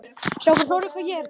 Sú tign hans stóð stutt.